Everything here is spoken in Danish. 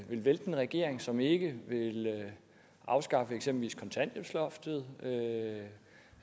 vil vælte en regering som ikke vil afskaffe eksempelvis kontanthjælpsloftet